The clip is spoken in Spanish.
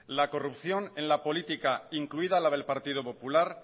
la corrupción en la política incluida la del partido popular